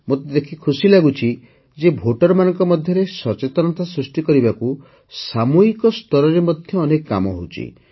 ମୋତେ ଦେଖି ଖୁସିଲାଗୁଛି ଯେ ଭୋଟରମାନଙ୍କ ମଧ୍ୟରେ ସଚେତନତା ସୃଷ୍ଟି କରିବାକୁ ସାମୂହିକ ସ୍ତରରେ ମଧ୍ୟ ଅନେକ କାମ ହେଉଛି